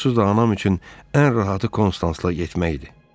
Onsuz da anam üçün ən rahatı konstansla getməkdir.